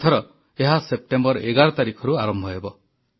ଏଥର ଏହା ସେପ୍ଟେମ୍ବର 11 ତାରିଖରୁ ଆରମ୍ଭ ହେବ